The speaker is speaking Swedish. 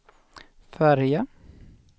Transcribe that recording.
färja